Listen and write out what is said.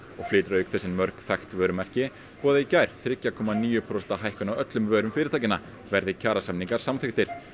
og flytur auk þess inn mörg þekkt vörumerki boðaði í gær þriggja komma níu prósenta hækkun á öllum vörum fyrirtækjanna verði kjarasamningar samþykktir